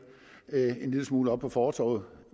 en lille smule oppe på fortovet